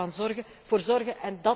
we doen. Daar moeten we voor